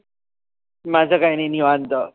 माझ काही नाही निवांत.